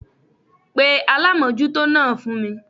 Pe alámójútó náà fún mi